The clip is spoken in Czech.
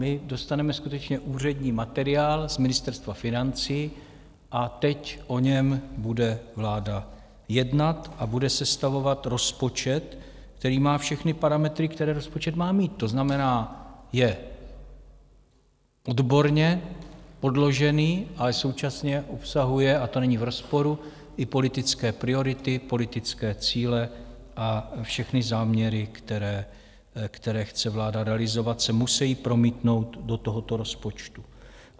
My dostaneme skutečně úřední materiál z Ministerstva financí a teď o něm bude vláda jednat a bude sestavovat rozpočet, který má všechny parametry, které rozpočet má mít, to znamená, je odborně podložený, ale současně obsahuje - a to není v rozporu - i politické priority, politické cíle a všechny záměry, které chce vláda realizovat, se musejí promítnout do tohoto rozpočtu.